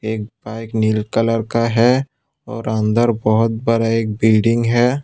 एक बाइक नील कलर का है और अंदर बहुत बड़ा एक बिल्डिंग है।